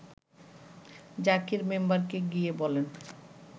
জাকির মেম্বারকে গিয়ে বলেন